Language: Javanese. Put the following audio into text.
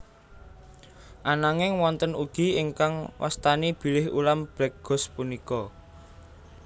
Ananging wonten ugi ingkang wastani bilih ulam black ghost punika